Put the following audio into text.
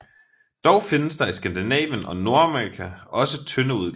Dog findes der i Skandinavien og Nordamerika også tynde udgaver